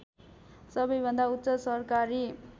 सबैभन्दा उच्च सरकारी